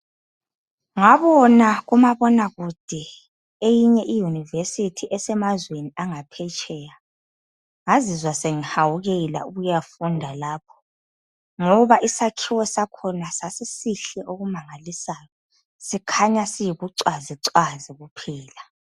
Ngabona kumabonakude eyinye iYunivesithi esemazweni angaphetsheya, ngazizwa sengihawukela ukuyafunda lapho ngoba isakhiwo sakhona sasisihle okumangalisayo sikhanya siyibucwazicwazi kuphela.